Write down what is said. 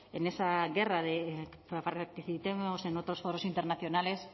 en esa guerra de participemos en otros foros internacionales